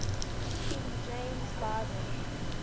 king james bible